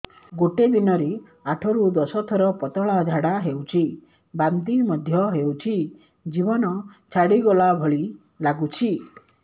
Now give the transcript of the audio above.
ଗୋଟେ ଦିନରେ ଆଠ ରୁ ଦଶ ଥର ପତଳା ଝାଡା ହେଉଛି ବାନ୍ତି ମଧ୍ୟ ହେଉଛି ଜୀବନ ଛାଡିଗଲା ଭଳି ଲଗୁଛି